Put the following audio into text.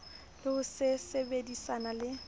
le ho se sebedisane le